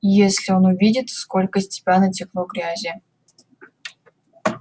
если он увидит сколько с тебя натекло грязи